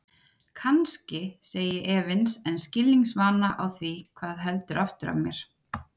Kannski, segi ég efins en skilningsvana á því hvað heldur aftur af mér.